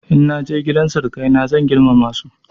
In na je gidan sirikaina zan girmama su.